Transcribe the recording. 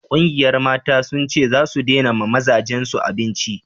ƙungiyar Mata sun ce zasu dena ma mazajen su abinci